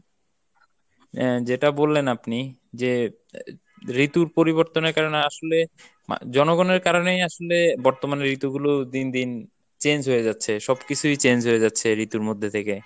আহ যেটা বললেন আপনি যে ঋতুর পরিবর্তনের কারনে আসলে জনগণের কারণেই আসলে বর্তমানে ঋতুগুলো দিনদিন change হয়ে যাচ্ছে, সবকিছুই change হয়ে যাচ্ছে ঋতুর মধ্যে থেকে।